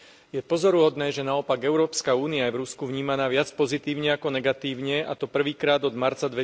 Je pozoruhodné, že naopak Európska únia je v Rusku vnímaná viac pozitívne ako negatívne, a to prvýkrát od marca